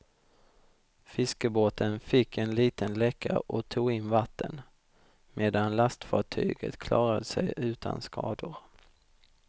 Fiskebåten fick en liten läcka och tog in vatten, medan lastfartyget klarade sig utan skador.